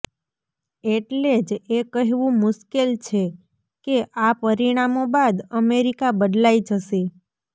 એટલે જ એ કહેવું મુશ્કેલ છે કે આ પરિણામો બાદ અમેરિકા બદલાઈ જશે